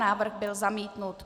Návrh byl zamítnut.